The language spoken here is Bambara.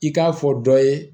I k'a fɔ dɔ ye